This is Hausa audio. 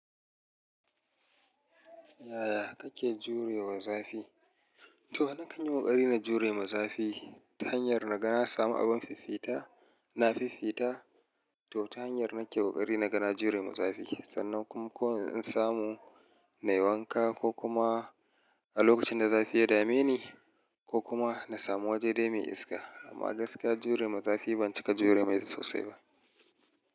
Yaya kake jurewa zafi? To na kan yi ƙoƙari na jure ma zafi ta hanyar na ga na samu abin fifita, na fifita. To ta hanyar nake ƙoƙari na ga na jure ma zafi sannan kuma ko in samu na yi wanka ko kuma a lokacin da zafi ya dame ni ko kuma na samu wajen dai mai iska. Amma gaskiya jure ma zafi ban cika jure mai sosai ba.